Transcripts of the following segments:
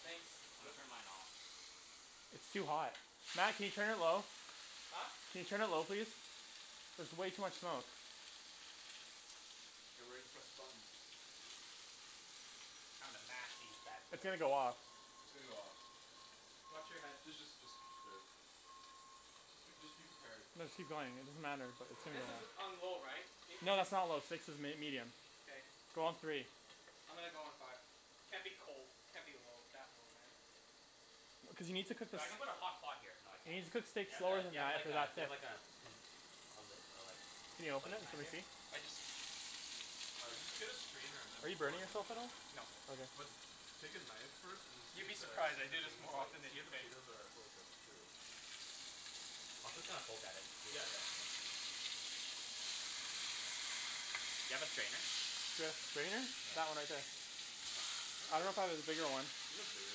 Thanks. Turn mine off. It's too hot. Matt can you turn it low? Huh? Can you turn it low please? There's way too much smoke. Get ready to press the button. I'm gonna mash these bad It's gonna boys. go off. It's gonna go off. Watch your head. D- just just just wait. J- just be prepared. No just keep going. It doesn't matter but it's This is gonna. on low right? It No six? that's not low, six is m- medium. K. Go on three. I'm gonna go on five. Can't be cold. Can't be low that low man Cuz you need to cook the So s- I'm gonna put a hot pot here you need so to I cook can steak Do slower than you that have after the that do bit. you have like a do you have like a pi- lid Can you like open it? Matt Can we just see? used? I just Uh just get a strainer and Are then you pour burning it in. yourself at all? No Okay. But take a knife first and see You'd if be the surprised. see I if the do this thing is more like often than see you if the think. potatoes are fully cooked through. I'll just kinda poke at it. Yeah, yeah yeah yeah Do you have a strainer? Do I have strainer? That one right there. I dunno if I have a bigger one. Do you have a bigger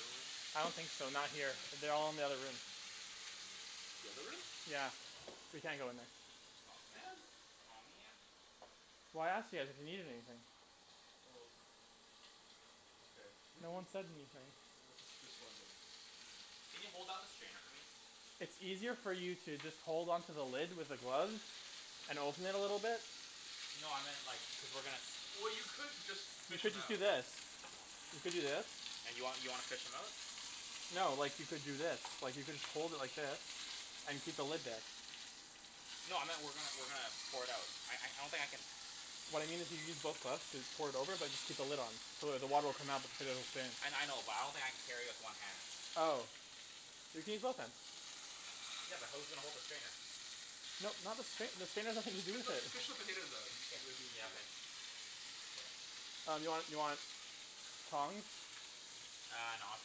one? I don't think so. Not here. They're all in the other room. The other room? Yeah, we can't go in there. Aw man. Aw man. Well I asked you guys if you need anything. Well. Okay. No one said anything. No, just just wondering. Can you hold up the strainer for me? It's easier for you to just hold on to the lid with the gloves and open it a little bit. No I meant like cuz we're gonna s- Well you could just You fish should 'em just do out. this. You could do this. And you want you wanna fish 'em out? No, like you could do this. Like you could hold it like this, and keep the lid there. No I meant we're gonna we're gonna pour it out. I don't think I can What I mean is you use both gloves and pour it over but just keep the lid on. So it the water will come out but the potatoes will stay in. I I know but I don't think I can carry it with one hand. Oh. You can use both hands. Yeah, but who's gonna hold the strainer? No not the strainer, the strainer has nothing to Just do fi- with no just it. fish the potatoes out it it'll be Yeah easier. okay Um do you want do you want tongs? Uh no I'll just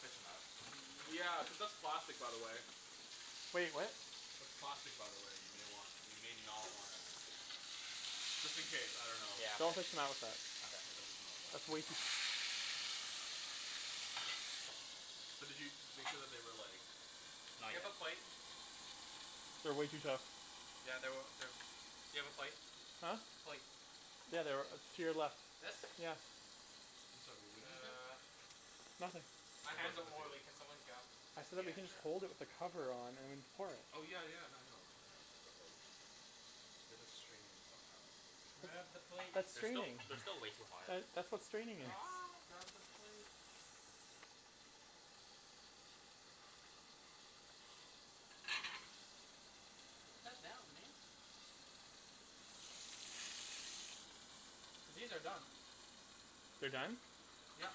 fish 'em out. Yeah, cuz that's plastic by the way. Wait, what? That's plastic by the way, you may want you may not wanna Just in case, I dunno. Yeah. Don't fish 'em out with that. Yeah, don't Okay. fish 'em out like that. That's way Use too tongs. But did you make sure that they were like Not Do you yet. have a plate? They're way too tough Yeah they were they do you have a plate? Huh? Plate. Yeah, they're to your left. This? Yeah. I'm sorry, wait, what did you say? Nothin' My hands About the are potatoes. oily, can someone get 'em? I said that Yeah, you can just hold it sure. with the cover on and pour it. Oh yeah yeah no I know I know but like We have to strain them somehow, and finish it. Grab the That's plate that's They're still straining. they're still way too hot. That's what straining is. Grab the plate. Put that down, man. These are done. They're done? Yep.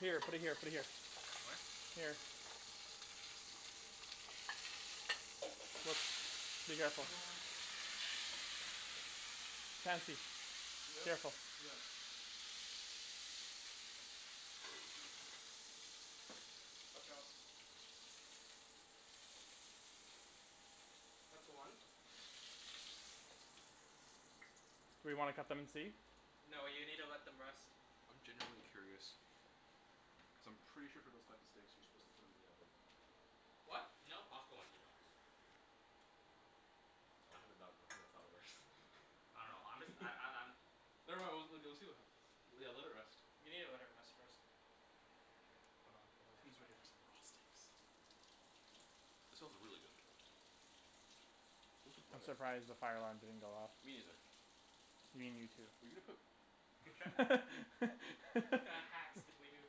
Here, put it here put it here. What? Here. be careful. Chancey. Yeah? Careful. Yeah. Watch out. That's one. We wanna cut them and see? No you needa let them rest. I'm genuinely curious. Cuz I'm pretty sure for those types of steaks you're supposed to put 'em in the oven. What? No, Costco ones you don't. I dunno I'm just I'm I'm I'm Never mind, we'll we'll see what happens. Yeah, let it rest. You needa let it rest first. Hold on, gotta wash Who's ready my for hands. some raw steaks? That smells really good though. Where's the I'm butter? surprised the fire alarm didn't go off. Me neither. You mean you too. Were you gonna put What kinda hacks did we do?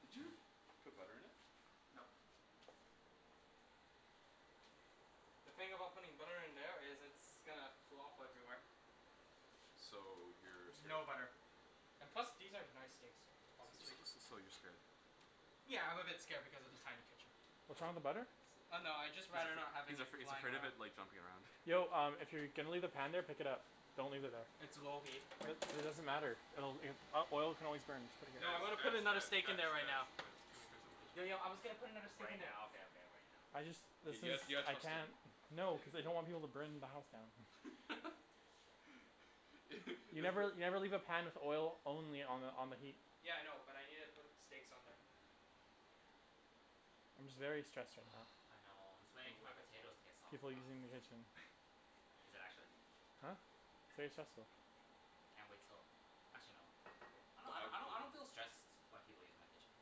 Did you put butter in it? Nope. Okay. The thing about putting butter in there is it's gonna flop everywhere. So you're scared. No butter. And plus these are nice steaks so So so so you're scared. Yeah, I'm a bit scared because of the tiny kitchen. What's wrong with the butter? So Oh no, I'd just rather not having he's it afraid he's flying afraid of around. it like jumping around. Yo um if you're gonna leave the pan there pick it up. Don't leave it there. It's low heat. What? It doesn't matter. It'll it oil can always burn. Just put it No I'm Guys gonna here. guys put another guys steak in guys there right guys now. guys, too many cooks in the kitchen. Yo yo I was gonna put another steak Right in there. now, okay okay right now. I just let's K, guys, just you got I trust him. can't no cuz I don't want people to burn my house down. You never you You've never leave a pan with oil only on the on the heat. Yeah I know, but I needa put steaks on there. I'm just very stressed right now I know, I'm just waiting for my potatoes to get soft People using the though. kitchen. Is it actually? Huh? It's very stressful. Can't wait till actually no I don't I don't I don't feel stressed when people use my kitchen.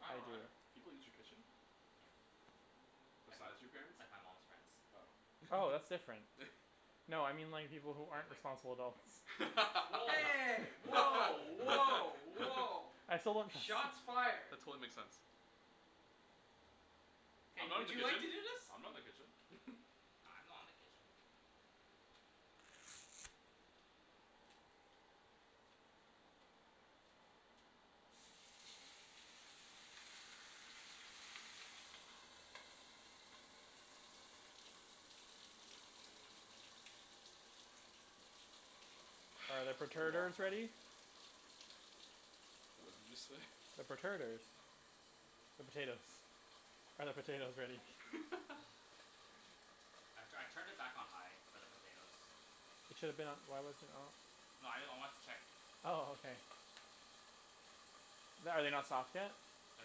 I I don't do. either. People use your kitchen? Like, Besides your parents? like my mom's friends. Oh, Oh, that's different. No I mean like people who aren't responsible adults. Hey! Woah woah woah! I still don't Shots fired. That totally makes sense. I'm Hey, not in would the you like to kitchen. do this? I'm not in the kitchen. I'm not in the kitchen. Are the It's a long perterters ready? time. What did you say? The perterters The potatoes. Are the potatoes ready? I'm tryin' I turned it back on high for the potatoes. It should've been on. Why wasn't it on? No I know I wanted to check. Oh okay. The- are they not soft yet? They're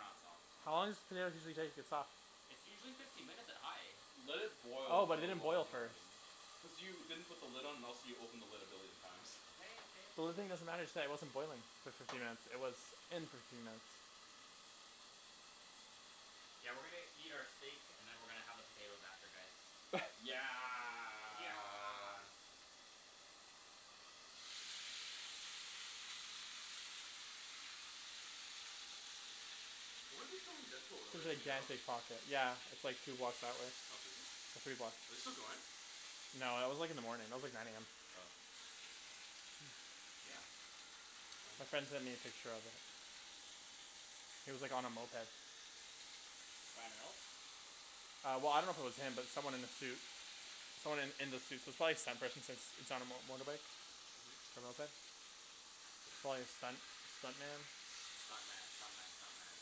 not soft. How long does a potato usually take to get soft? It's usually fifteen minutes at high. Let it Oh, boil for but it a didn't long boil time. first. Cuz you didn't put the lid on else you opened the lid a billion times. The lid thing doesn't matter it just wasn't boiling for fifteen minutes. It was in for fifteen minutes. Yeah, we're gonna eat our steak and then we're gonna have our potato after this. Yeah Yeah Where were they filming Deadpool earlier, do you know? Yeah, it's like two blocks that way, Oh seriously? or three blocks. Are they still going? No, that was like in the morning. That was like nine AM. Oh Damn. My Wanted friend sent me to a picture of it. He was like on a moped. Ryan Reynolds? Uh well I dunno if it was him but it was someone in a suit. Someone in in the suit, so it's probably stunt person since it's on on motorbike. Mhm. A moped. Probably a stunt stunt man. Stunt man stunt man stunt man.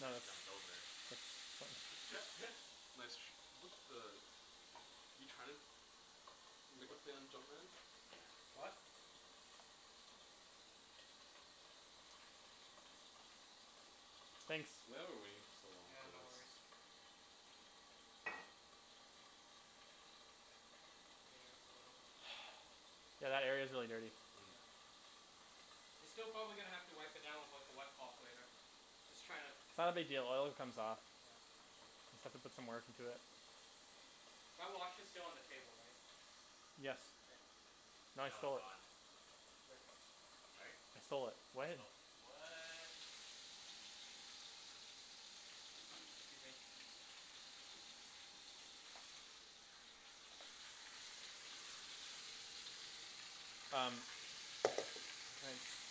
No Just it's jumped over it's Nice tr- what the? You tryin' to Make a play on jump man? Yeah. What? Thanks. Why are we waiting for so long Yeah, for no this? worries. Yeah, a little. Yeah that area's really dirty. Yeah. You're still gonna probably have to wipe it down with like a wet cloth later. Just tryin' to It's not a big deal, oil it comes off. Yeah. Just have to put some work into it. My watch is still on the table, right? Yes. K. No, it's gone. Yep. Right? I stole it He sto- what? 'scuse me. Um Um, it's Nice.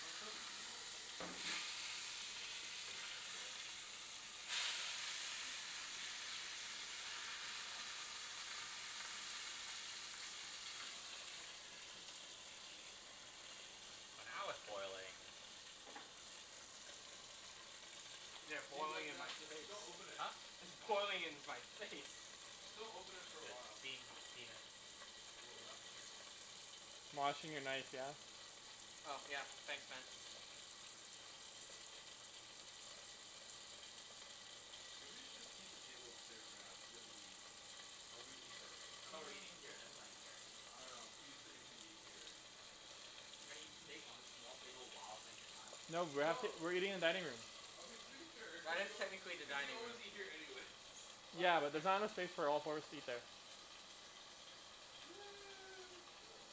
Let's set up the game while we're at it. Sure. Oh now it's boiling. Yeah, Leave it boiling like in my that j- face. just don't open it. Huh? It's boiling in my face. Just don't open it for a The while. steam steam it Whoa, what happened here? Washing your knife, yeah? Oh yeah, thanks man. Uh maybe we should just keep the table clear for now cuz we have to eat. Oh we're gonna eat there. I thought we're eating here and then playing here. I dunno I'm too used to Ibrahim eating here. We're gonna eat steak on this small table while playing Catan? No, we're actually No we're eating in dining room. Okay just making sure, Well cuz it's you al- technically the cuz you dining room. always eat here anyways What's Yeah, but there's different? not enough space for all four of us to eat there. Okay whatever.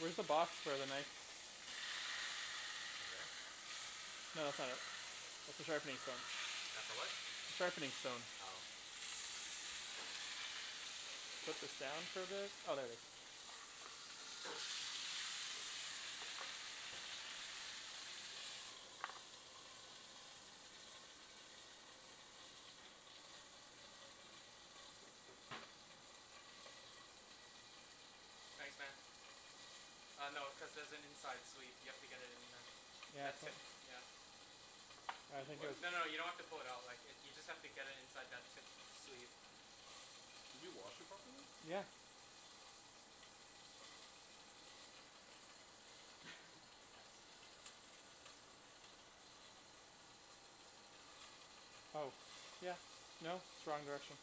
Where's the box for the knife? Over there? No that's not it, that's the sharpening stone. That's the what? Sharpening stone. Oh. Put this down for a bit. Oh there it is. Thanks, man. Uh no, cuz there's an inside sleeve, you have to get it in there. Yeah, it's That not tip, yeah. I There think was? it's No no, you don't have to fold it out. Like if you just have to get it inside that tip sleeve. Did you wash it properly? Yeah. Oh yeah no it's wrong direction.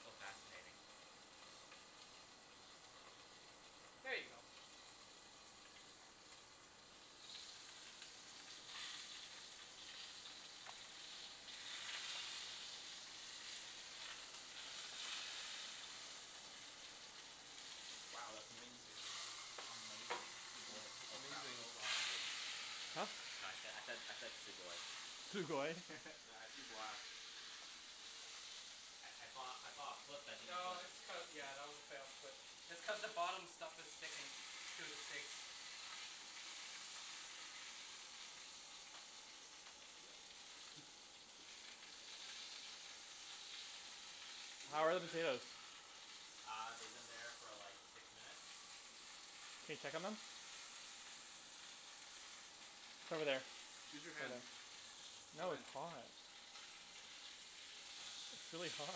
So fascinating. There you go. Wow that's amazing. Amazing. Sugoi. It's Oh crap, amazing. oh wrong language. Huh? No I said I said I said sugoi. Sugoi? Matt, I see black. I I thought I thought it flipped but it didn't No flip. it's cu- yeah that was a fail but it's cuz the bottom stuff is sticking to the steak. Yeah. Did we How are the let that finish? potatoes? Uh they've been there for like six minutes. Can you check 'em then? It's over there. Use Over your hand. there. No, it's Hand. hot. It's really hot.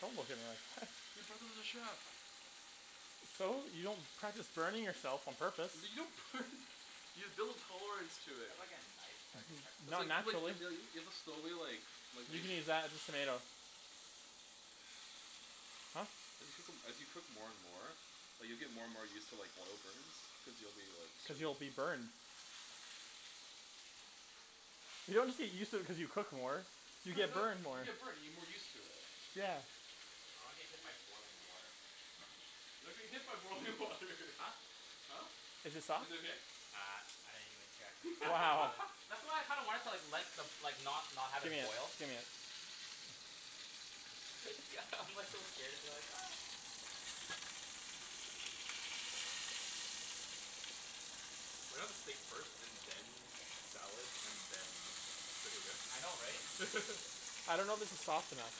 Don't look at me like that. You're driving with a chef. So? You don't practice burning yourself on purpose. L- you don't burn you build tolerance to Do you it. have like a knife so I can check on N- It's not like this? you like naturally. you have to slowly like like You can use that, just tomato. Huh? As you cook 'em as you cook more and more like you'll get more and more used to like oil burns cuz you'll be like Cuz you'll be burned. You don't get used to it cuz you cook more. You No you get no burned more. you get burned you get more used to it. Yeah. I don't wanna get hit by boiling water. You're not gonna get hit by boiling water Huh? Huh? Is it soft? Is it okay? Uh I didn't even check cuz it's like Wow. boiling. That's why I kinda wanted to like let the like not not have it Gimme it, boil. gimme it. It's g- I'm like so scared. I'm like We're gonna have the steak first and then salad and then I know, right? potatoes. I dunno if this is soft enough.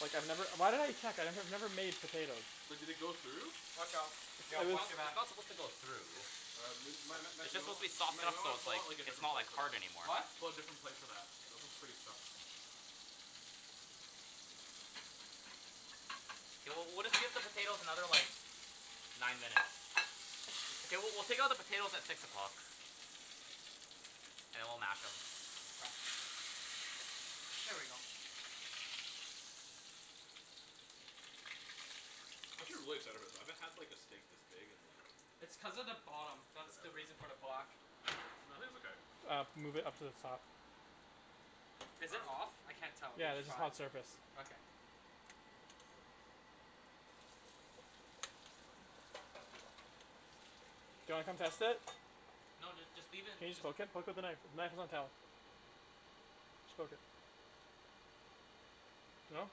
Like I've never- why did I check? I've never made potatoes. But did they go through? Watch out. Yo, watch It's- your it's back. not supposed to go through. Uh m- Matt- Matt- It's Matt- you just know supposed to be what? soft Matt you enough know so what? it's Pull like out like a it's different not like plate for hard that. anymore. What? Pull out a different plate for that. That one's pretty stuffed. We'll- we'll take out the potatoes another like nine minutes. Mkay, w- we'll take out the potatoes at six o'clock. And then we'll mash 'em. Here we go. I should really settle with that, I haven't had like a steak this big in like- It's cuz of the bottom. That's the reason Forever. for the black. No, I think it's okay. Uh, move it up to the top. Is it off? I can't tell. Yeah, It's this is five. hot surface. Okay. Do you wanna come test it? No dude, just leave it. Can you just poke it? Poke with a knife. The knife is on the shelf Just poke it. No?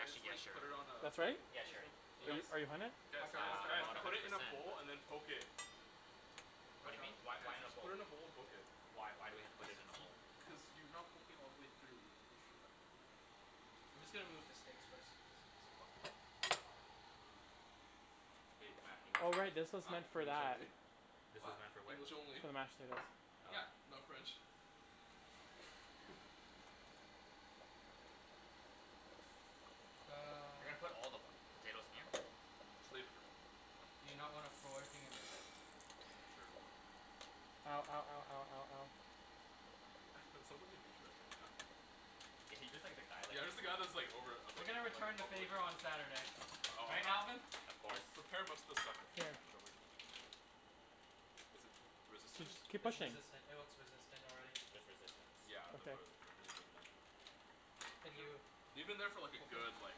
Actually yeah, sure. put it on a- That's right? Yeah, sure. Are you are you hunnid? Guys, Watch Uh, out, guys, watch, out I'm guys. watch not out. one Put hundred it in a percent bowl and then poke it. What do you mean? Why- why in this Just bowl? put it in a bowl and poke it. Why- why we have to put it in a bowl? Cuz you are not poking all the way through. I'm just gonna move the steaks first. excusez-moi. Hey Matt, English Oh only. right, this was Huh? meant for English that. only. This What? is not for which? English only. For the mashed potatoes. Yeah. Oh. Not French. Uh. You're gonna put all the potatoes in here? Just leave it Do you not wanna throw everything and mix it? Sure go Ow, ow, ow, ow, ow, ow. I sound like a douche bag right now. Yeah. He's just the guy, like Yeah. I'm he's just the guy all- that's like over- I'm We're like- gonna I'm return like the overlooking. favor on Saturday. Right, Oh, Alvin? of course. prepare most of the stuff beforehand, don't worry too much about it. Is it resistance? Keep It's pushing. resistant. It looks resistant already. There's resistance. Yeah, I'm gonna Okay. put it, then leave it in there. Can you Leave it in there for like a open? good, like,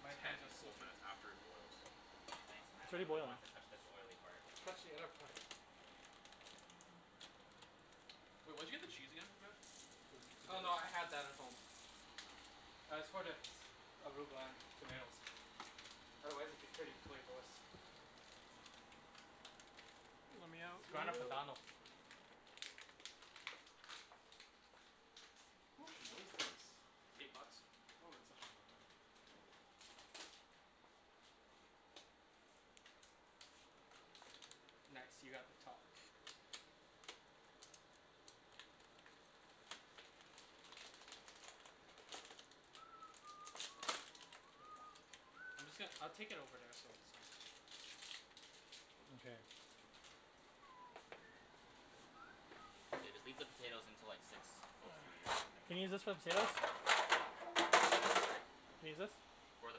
My hands are ten full slippery. minutes after it boils. Thanks It's Matt, I already really boiling. want to touch this oily part. Touch the other part. Wait, where did you get the cheese again Matt? For the Oh potatoes? no, I had that at home. Uh, it's for the arugula and tomatoes. Otherwise it'd be pretty flavorless. Lemme out, Grana lemme Padano. out. How much is this? Eight bucks. Oh, that's actually not that bad. Nice, you got the top. Here you go. I'm just gon- I'll take it over there so it's not- Mkay. Yeah. Just leave the potatoes until like six or nine minutes Can I use this for the potatoes? Can I use this? For the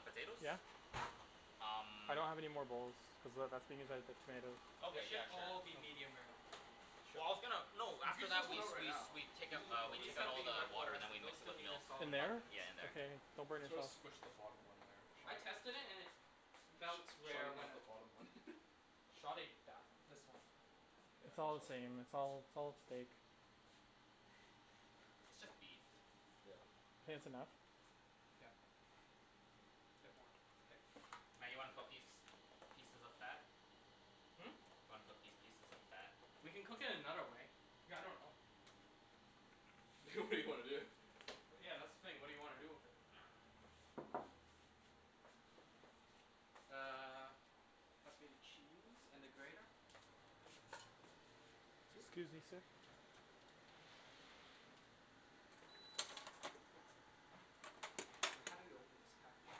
potatoes? Yeah. Um. I don't have any more bowls, cuz that- that's being used by the tomatoes. They Okay, should yeah sure. all be medium rare. Well I was gonna... No, You after could that do we- it right we- now. we take out- we These take out have all been in the the water water. and then we Those mix it still with need a milk. Yeah In solid five there? minutes. in there. Okay, don't You burn need to yourself. squish the bottom one there. I tested it and it felt rare Sorry when about I- the bottom one. Shove it down. This one. It's all the same. Yeah It's all- it's all steak. It's just beef. Yeah. Think that's enough? Yeah. Yep. It's Okay. Matt, you wanna cook these pieces of fat? Hmm? Want to cook these pieces of fat? We can cook it another way. I dunno. It's okay. good idea. Well yeah that's the thing. What do you wanna do with it? Uh. Pass me the cheese and the grater. Just, scusi, sir How do you open this package?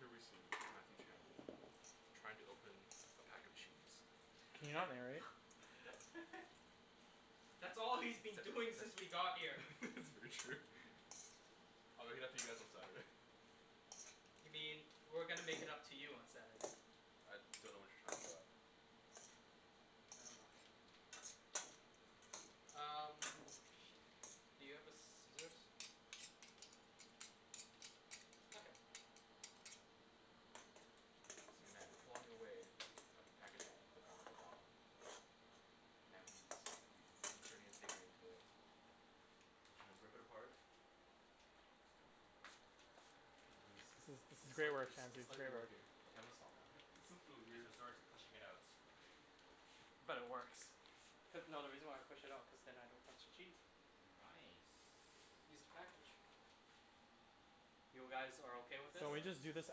Here we see Matthew Chan, trying to open a pack of cheese. Can you not narrate? That's all he's been doing since we got here. That's very true. I'll make it up to you guys on Saturday. You mean we're gonna make it up to you on Saturday. I dunno what you're talking about. Nevermind. Um, where is the thing? Do you have the scissors? I got it. You see Matt clawing away at the packaging of the Grana Padano. Now he's- he's entering his steak knife into it. He trying to rip it apart. And he's This is- this is it's great slight- work Chan, it's it's slightly great work. working. Okay, I'm gonna stop now, this is really He's weird. sort to pushing it out. But it works. Cuz- no, the reason why I pushed it out cuz then I don't touch the cheese. Nice. Just the package. You guys are okay with It's, this? So uh, we this just do this is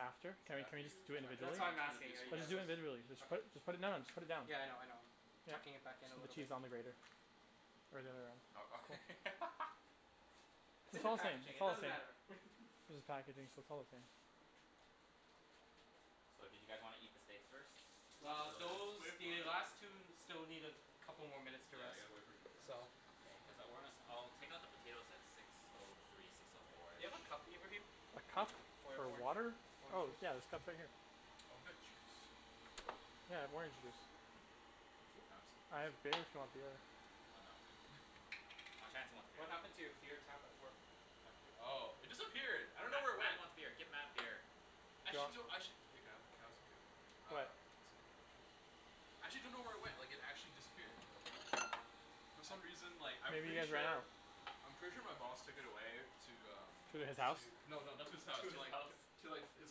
after? Can we- can we just Matthew do it tryin'- That's individually? why I'm tryin' to be asking, a are you smart Let's guys just ass. do o- it individually. Just put- just put it now, just put it down. okay?.Yeah I know I know. Tucking it back you in a should put little bit. cheese on the grater. Is the other way around, uh-oh. cool. It's It's in the all the same, packaging, it's it all the doesn't same. matter. It's just packaging, so it's all the same. So, do you guys wanna eat the steaks first? Not Well really, those- wait for the it to rest. last two still need a couple more minutes to Yeah I rest, gotta wait for it to rest. so- K, Cuz I- we're gonna- I'll take out the potatoes at six O three, six O four. Do you have a cup, Ibrahim? A cup For for orange water? orange Oh juice. yeah there's cups right here. Oh, got juice? Yeah, I have orange juice. Can I have some? I have beer if you want beer. Oh, Chancey wants beer. What happened to your beer tap at work? My bee- Oh it disappeared I dunno Matt- where it Matt went. wants beer. Get Matt beer. Actually I do- Actually- Can I have- can I What? have some too? Actually dunno where it went, like it actually disappeared. For some reason, like, I'm Maybe you pretty guys ran out. sure- I'm pretty sure my boss took it away to, um. To his house? No, no, not to his house. To the Alps To like His his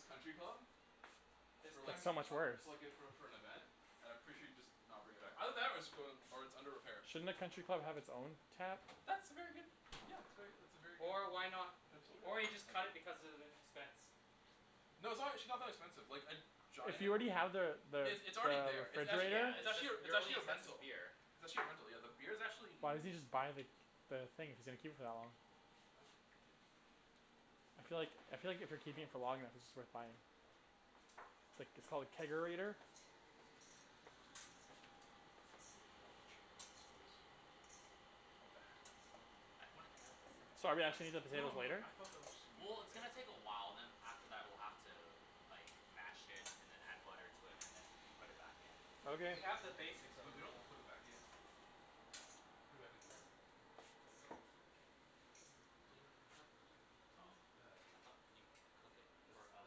country country club? club. I was That's like for- so much worse. like for like - for- for an event. And I'm pretty sure he'd just not bring it back. Either that or it's going- or it's under repair. Shouldn't a country club have its own tap? That's a very good- , that's very that's a very good Or idea, why kind of not- potential, yeah. or he just cut it Thank you. because of the expense. No, it's actually not that expensive. Like a If giant- you already have the- the- it's already the there. It's actually- Yeah refrigerator. it's it's just actually a- it's your really actually a expensive rental. beer. It's actually a rental, yeah. The beer's actuall Why doesn't n- he just buy the- the thing if he's gonna keep it for that long? I'm like- - I feel like- I feel like if you're keeping it for long enough it's just worth buying it. Like it's called a Kegerator? chair for this place. I pointed that out to the second Sorry, I should eat the I- No potatoes no, later? I thought that was... Well it's gonna take a while, then after that we're gonna have to, like, mash it then add butter and then put it back in. Okay. We have the basics We already. don't have to put it back in. Put it back in there. You don't have to do that. I thought you cook it for a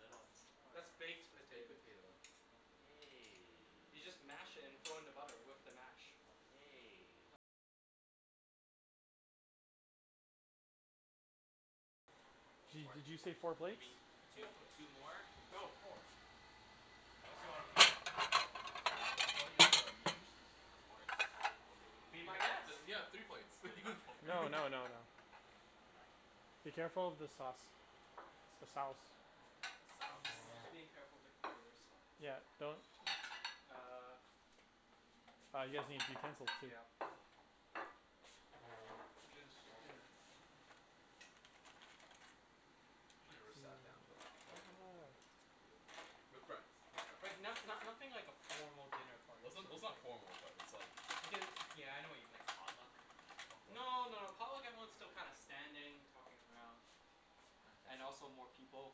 little more. That's baked Baked potatoes. potato. Okay. You just mash it and throw in the butter with the mash. Di- did you say four Or y- you plates? mean two Four plates. two more? No, four. Ya, wan- wan- you wanna eat all the meat juices? Of course. Be my guest. Then I'm kidding. yeah, three plates. We already got four. No, no, no, no. Be careful with the sauce. The sauce. Sauce. I'm being careful of the computers. Yeah, don't. Uh- Uh, you guys need the utensils Yeah. too. I'm just, you know. I never Nice. sat down to like formal home cooked meal before with friends with friends. Like not no- nothing like a formal dinner Well party it's sort n- of it's not thing. formal but it's like- Like a- yeah I know what you mean. Like potluck? Potluck? No, no, a potluck everyone's still kinda standing, talking around. And also more people.